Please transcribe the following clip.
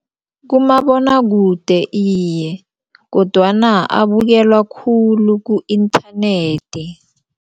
Kumabonwakude iye kodwana abukelwa khulu ku-internet.